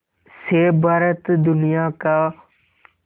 से भारत दुनिया का